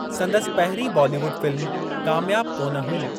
संदसि पहिरीं बॉलीवुड फ़िल्म कामयाब कोन हुई।